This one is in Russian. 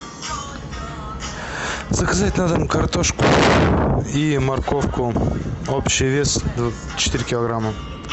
заказать на дом картошку и морковку общий вес четыре килограмма